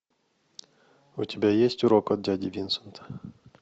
у тебя есть урок от дяди винсента